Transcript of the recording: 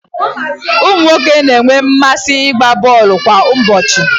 ụmụ nwoke na-enwe mmasị ịgba bọọlụ kwa ụbọchị